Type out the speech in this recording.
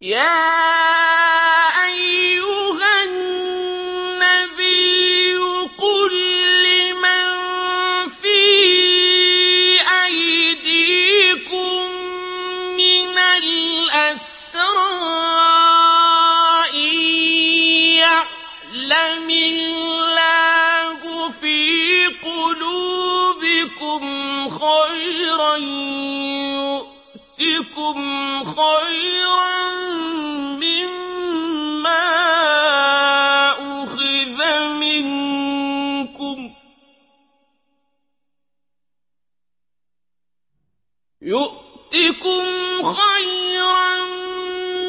يَا أَيُّهَا النَّبِيُّ قُل لِّمَن فِي أَيْدِيكُم مِّنَ الْأَسْرَىٰ إِن يَعْلَمِ اللَّهُ فِي قُلُوبِكُمْ خَيْرًا يُؤْتِكُمْ خَيْرًا